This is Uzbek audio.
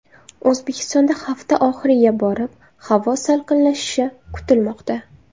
O‘zbekistonda hafta oxiriga borib havo salqinlashishi kutilmoqda.